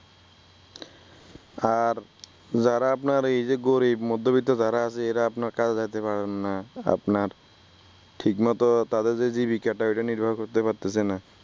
আর যারা আপনার এই যে গরিব মধ্যবিত্ত যারা আছে এরা আপনার কাজে যাইতে পারেন না আপনার ঠিকমতো তাদের জীবিকাটা উপর নির্ভর করতে পারতেছে না ।